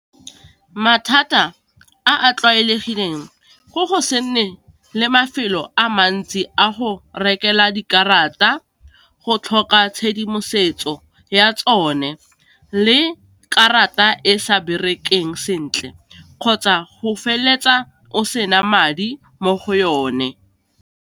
Mathata a a tlwaelegileng go go se nne le mafelo a mantsi a go rekelwa dikarata, go tlhoka tshedimosetso ya tsone, le karata e sa berekeng sentle, kgotsa go feleletsa o sena madi mo go yone.